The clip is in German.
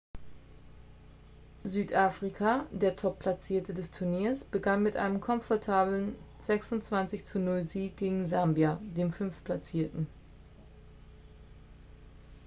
südafrika der top-platzierte des turniers begann mit einem komfortablen 26 : 00-sieg gegen sambia den fünftplatzierten